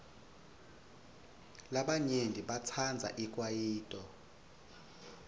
labanyenti batsandza ikwayito